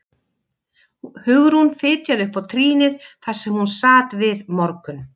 Hugrún fitjaði upp á trýnið þar sem hún sat við morgun